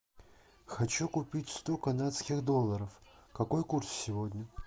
хочу купить сто канадских долларов какой курс сегодня